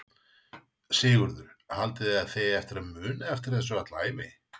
Sigurður: Haldið þið að þið eigið eftir að muna eftir þessu alla ævi?